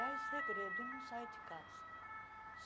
ah É segredo e não saio de casa.